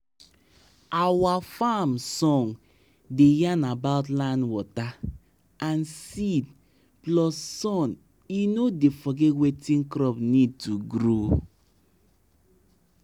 i hear as wan old baba da sing about yam hill about yam hill when he da add manure for farm